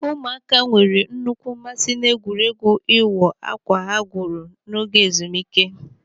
Ụmụaka nwere nnukwu mmasị n'egwuregwu ịwọ akwa ha gwuru n'oge ezumike.